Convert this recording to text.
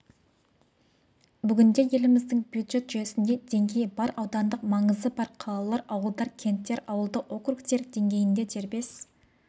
бүгінде еліміздің бюджет жүйесінде деңгей бар аудандық маңызы бар қалалар ауылдар кенттер ауылдық округтер деңгейінде дербес